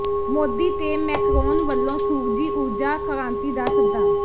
ਮੋਦੀ ਤੇ ਮੈਕਰੋਨ ਵਲੋਂ ਸੂਰਜੀ ਊਰਜਾ ਕ੍ਰਾਂਤੀ ਦਾ ਸੱਦਾ